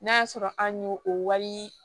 N'a y'a sɔrɔ an y'o o wari